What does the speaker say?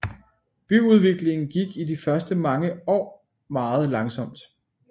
Byudviklingen gik i de første år meget langsomt